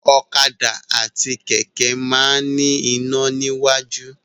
Ọ̀kadà àti kẹ̀kẹ́ máa ń ní iná iwájú.